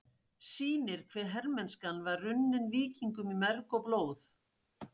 sýnir hve hermennskan var runnin víkingum í merg og blóð.